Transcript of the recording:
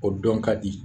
O dɔn ka di